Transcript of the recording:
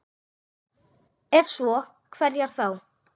Ef svo, hverjar þá?